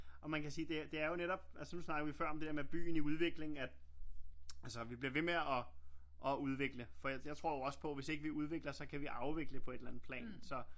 Og man kan sige det er jo netop altså nu snakkede vi før om det der med byen i udvikling at altså vi bliver ved med og udvikle for jeg tror jeg også på hvis ikke vi udvikler så kan vi jo afvikle på et eller andet plan så